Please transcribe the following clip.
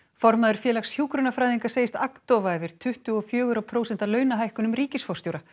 formaður Félags hjúkrunarfræðinga segist agndofa yfir tuttugu og fjögurra prósenta launahækkunum ríkisforstjóra